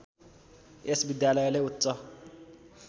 यस विद्यालयले उच्च